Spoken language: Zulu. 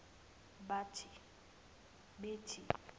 bathe